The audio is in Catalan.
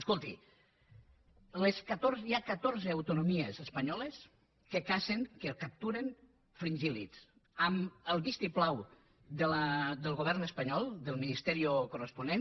escolti hi ha catorze autonomies espanyoles que cacen que capturen fringílvistiplau del govern espanyol del ministerioponent